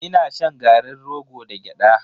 Ina shan garin rogo da gyada.